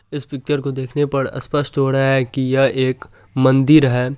इस पिक्चर को देखने पर सपष्ट हो रहा है की यह मंदिर है।